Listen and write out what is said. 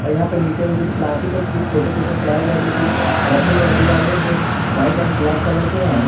यहां पे नीचे में कुछ प्लास्टिक और कुछ छोटे छोटे टायर जैसे चीज रखे हुए नजर आ रहे हैं जो वाइट एंड ब्लैक कलर के हैं।